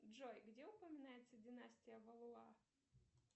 джой где упоминается династия валуа